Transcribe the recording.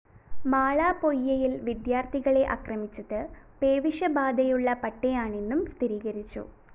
മാള പൊയ്യയില്‍ വിദ്യാര്‍ത്ഥികളെ ആക്രമിച്ചത് പേവിഷബാധയുള്ള പട്ടിയാണെന്നും സ്ഥിരീകരിച്ചു